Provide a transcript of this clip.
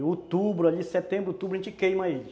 E outubro, setembro, outubro a gente queima ele.